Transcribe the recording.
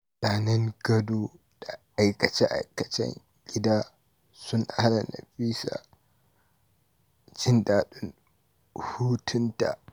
Zanen gado da aikace-aikacen gida sun hana Nafisa jin daɗin hutunta.